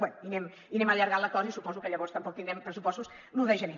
bé i anem allargant l’acord i suposo que llavors tampoc tindrem pressupostos l’un de gener